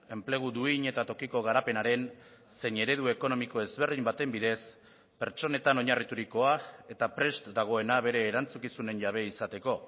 enplegu duin eta tokiko garapenaren zein eredu ekonomiko ezberdin baten bidez pertsonetan oinarriturikoa eta prest dagoena bere erantzukizunen jabe izateko